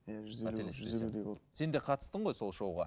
иә жүз елу сен де қатыстың ғой сол шоуға